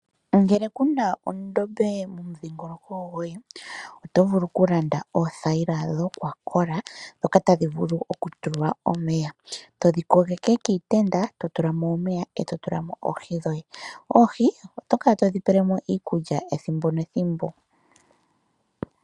Ngele kuna ondobe mo mudhingoloko goye otovulu kulanda oothayila dho kwakola, dhoka tadhi vulu oku tulwa omeya. todhi kogeke kiitenda totulamo omeya totulamo oohi dhoye. oohi otokala todhi pelemo iikulya ethimbo nethimbo.